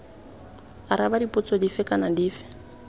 araba dipotso dife kana dife